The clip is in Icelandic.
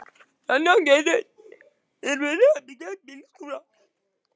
Handan götunnar er verið að byggja bílskúra.